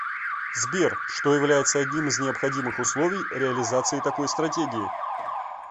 сбер что является одним из необходимых условий реализации такой стратегии